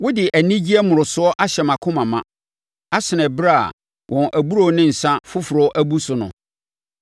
Wode anigyeɛ mmorosoɔ ahyɛ mʼakoma ma asene ɛberɛ a wɔn aburoo ne nsã foforɔ abu so no.